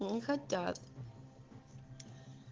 не хотят